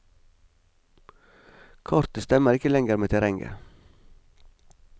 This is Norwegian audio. Kartet stemmer ikke lenger med terrenget.